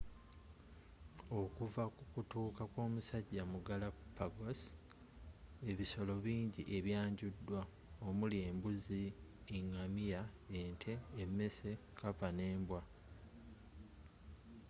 okuva kukutuuka kwomusajja mu galapagos ebisolo bingi ebyanjudwa omuli embuzi engamiya ente emmese kkapa nembwa